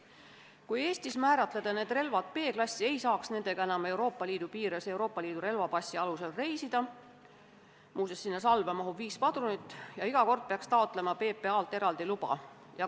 Kui aga Eestis määrata seda tüüpi relvad B-klassi kuuluvaks, ei saaks nendega enam Euroopa Liidu piires Euroopa Liidu relvapassi alusel reisida – muuseas, nende salve mahub viis padrunit – ja iga kord peaks PPA-lt eraldi luba taotlema.